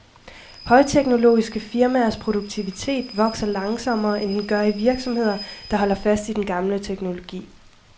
Højteknologiske firmaers produktivitet vokser langsommere, end den gør i virksomheder, der holder fast i den gamle teknologi.